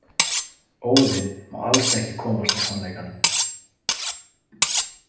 Óðinn má alls ekki komast að sannleikanum.